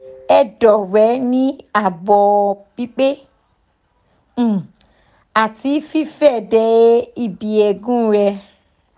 edo re ni abo pipe um ati fife de ibi eegun re